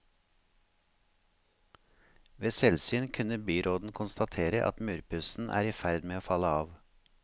Ved selvsyn kunne byråden konstatere at murpussen er i ferd med å falle av.